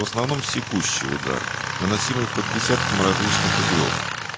в основном секущий удар наносимый по десяткам различных углов